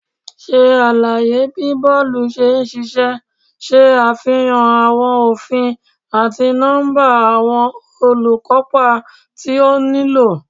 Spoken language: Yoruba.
Ṣe alaye bi bọọlu ṣe n ṣiṣẹ, ṣe afihan awọn ofin ati nọmba awọn olukopa ti o nilo